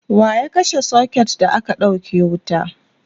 waya kashe socket da aka ɗauke wuta?